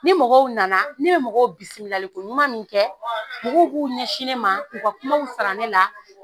Ni mɔgɔw nana ne bɛ mɔgɔw bisimilali ko ɲuman min kɛ, mɔgɔw b'u ɲɛsin ne ma k'u ka kuma sara ne la.